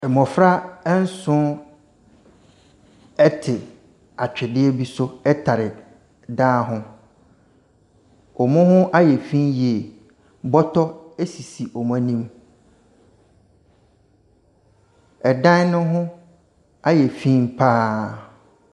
Mmɔfra nson te atwedeɛ bi so tare dan ho. Wɔn ho ayɛ fi yie. Bɔtɔ sisi wɔn anim. Dan no ho ayɛ fi pa ara.